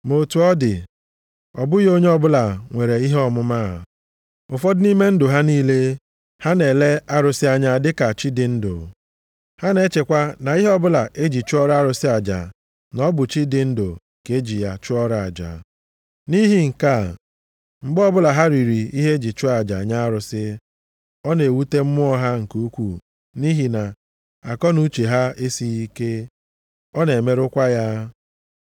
Ma otu ọ dị, ọ bụghị onye ọbụla nwere ihe ọmụma a. Ụfọdụ nʼime ndụ ha niile, ha na-ele arụsị anya dịka chi dị ndụ. Ha na-echekwa na ihe ọbụla e ji chụọrọ arụsị aja, na ọ bụ chi dị ndụ ka e ji ya chụọrọ aja. Nʼihi nke a, mgbe ọbụla ha riri ihe e ji chụọ aja nye arụsị, ọ na-ewute mmụọ ha nke ukwuu nʼihi na akọnuche ha esighị ike, ọ na-emerụkwa ya.